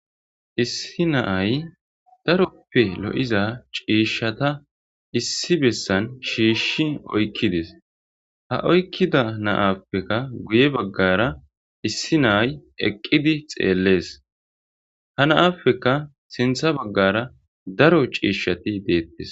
Issi naay daroppe lo'iza ciishshata issi bessan shiishshi oykkidis ha oykkida naappeka guye baggara issi naay eqqidi xeellees ha naappeka sintha baggara daro ciishshati deettis.